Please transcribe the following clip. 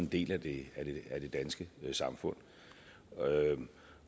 del af det danske samfund